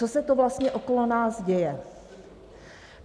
Co se to vlastně okolo nás děje?